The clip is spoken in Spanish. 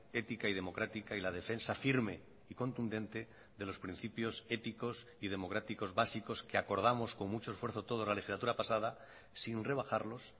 ética y democrática y la defensa firme y contundente de los principios éticos y democráticos básicos que acordamos con mucho esfuerzo toda la legislatura pasada sin rebajarlos